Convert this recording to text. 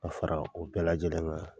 Ka fara o bɛɛ lajɛlen kan.